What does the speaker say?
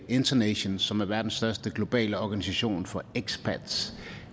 internation som er verdens største globale organisation for expats